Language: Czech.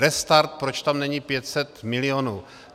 Restart, proč tam není 500 milionů.